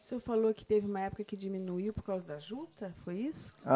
O senhor falou que teve uma época que diminuiu por causa da juta, foi isso? Ah